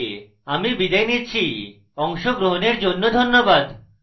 I I T Bombay থেকে আমি বিদায় নিচ্ছি অংশগ্রহণের জন্য ধন্যবাদ